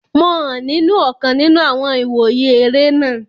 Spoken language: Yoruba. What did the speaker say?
Mo hàn nínu ọ̀kan nínu àwọn ìwòye eré náà